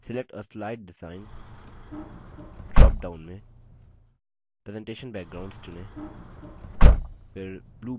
select a slide design drop down में presentation backgrounds चुनें फिर blue border चुनें